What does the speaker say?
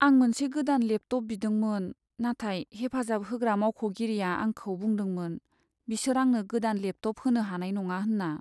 आं मोनसे गोदान लेपटप बिदोंमोन, नाथाय हेफाजाब होग्रा मावख'गिरिआ आंखौ बुंदोंमोन बिसोर आंनो गोदान लेपटप होनो हानाय नङा होनना।